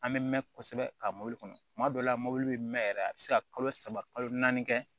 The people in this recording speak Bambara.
An bɛ mɛn kosɛbɛ ka mɔbili kɔnɔ tuma dɔw la mobili bɛ mɛn yɛrɛ a bɛ se ka kalo saba kalo naani kɛ